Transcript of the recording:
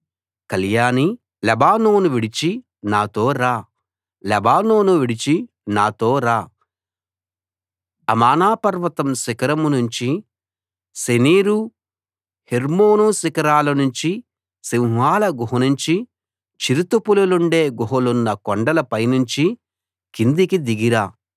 కళ్యాణీ Lebanon విడిచి నాతో రా లెబానోను విడిచి నాతో రా అమానా పర్వత శిఖరం నుంచి శెనీరు హెర్మోను శిఖరాల నుంచి సింహాల గుహలనుంచి చిరుతపులుండే గుహలున్న కొండలపైనుంచి కిందికి దిగి రా